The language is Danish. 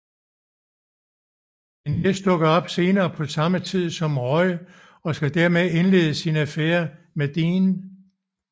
Men Jess dukker senere op på samme tid som Rory skal til at indlede sin affære med Dean